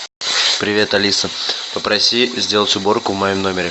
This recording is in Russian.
привет алиса попроси сделать уборку в моем номере